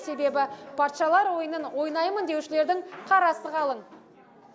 себебі патшалар ойынын ойнаймын деушілердің қарасы қалың